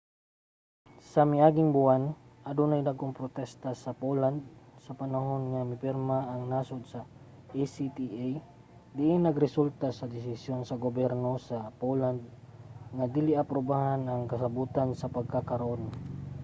sa miaging buwan adunay mga dagkong protesta sa poland sa panahon nga mipirma ang nasod sa acta diin nagresulta sa desisyon sa gobyerno sa poland nga dili aprubahan ang kasabutan sa pagkakaron